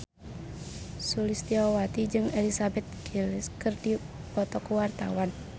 Sulistyowati jeung Elizabeth Gillies keur dipoto ku wartawan